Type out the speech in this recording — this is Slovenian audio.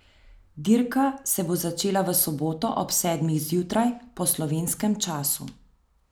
Dirka se bo začela v soboto ob sedmih zjutraj po slovenskem času.